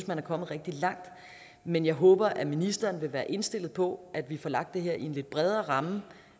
man er kommet rigtig langt men jeg håber at ministeren vil være indstillet på at vi får lagt det her i en lidt bredere ramme